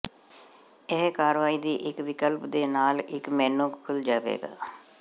ਇਹ ਕਾਰਵਾਈ ਦੀ ਇੱਕ ਵਿਕਲਪ ਦੇ ਨਾਲ ਇੱਕ ਮੇਨੂ ਖੁੱਲ ਜਾਵੇਗਾ